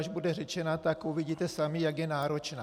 Až bude řečena, tak uvidíte sami, jak je náročná.